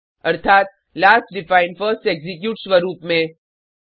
अर्थात last define first execute स्वरुप में